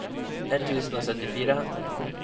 ett tusen og syttifire